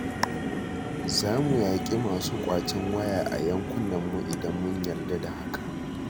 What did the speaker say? Za mu yaƙi masu ƙwacen waya a yankunanmu idan mun yarda da hakan